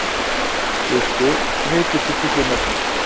Trausti, hvað heitir þú fullu nafni?